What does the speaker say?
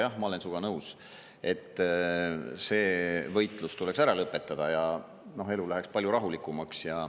Jah, ma olen sinuga nõus, et see võitlus tuleks ära lõpetada ja elu läheks palju rahulikumaks.